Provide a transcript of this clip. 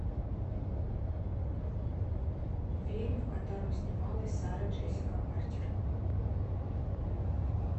фильм в котором снималась сара джессика паркер